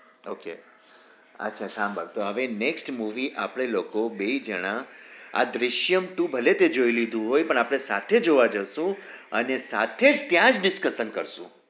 ok અચ્છા સંભાળ તો હવે next આપડે લોકો બે જના આ દૃશ્યમ two ભલે તે જોઈ લીધું હોય પણ આપડે સાથે જોવા જશું અને સાથે જ ત્યાં જ discusses કરશું